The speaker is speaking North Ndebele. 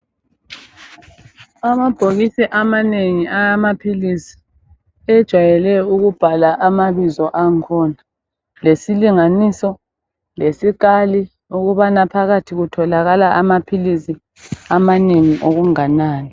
Amabhokisi amanengi awamaphilizi ajayelwe ukubhalwa amabizo akhona lesilinganiso, lesikali ukubana phakathi kutholakala amaphilizi amanengi okunganani.